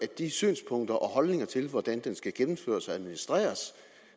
de synspunkter om og holdninger til hvordan den skal gennemføres og administreres